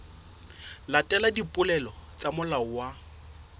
latela dipehelo tsa molao wa